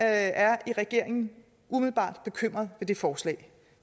er i regeringen umiddelbart bekymret ved det forslag